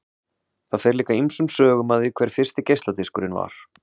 Það fer líka ýmsum sögum af því hver fyrsti geisladiskurinn var.